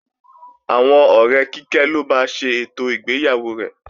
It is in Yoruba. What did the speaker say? Àwọn ọ̀rẹ́ Kíkẹ́ ló ba ṣe ètò ìgbéyàwó rẹ̀